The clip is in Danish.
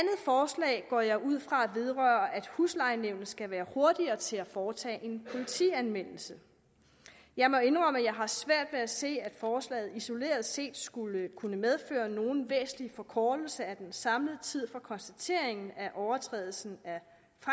forslag går jeg ud fra vedrører at huslejenævnet skal være hurtigere til at foretage en politianmeldelse jeg må indrømme at jeg har svært ved at se at forslaget isoleret set skulle kunne medføre nogen væsentlig forkortelse af den samlede tid fra konstateringen af overtrædelsen af